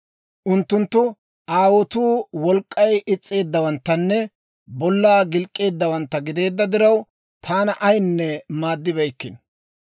Unttunttu aawotuu wolk'k'ay is's'eeddawanttanne bollaa gilk'k'eeddawantta gideedda diraw, taana ayinne maaddibeykkino.